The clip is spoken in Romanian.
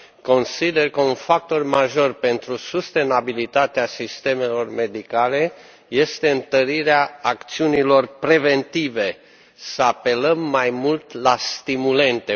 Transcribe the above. Consider că un factor major pentru sustenabilitatea sistemelor medicale este întărirea acțiunilor preventive să apelăm mai mult la stimulente.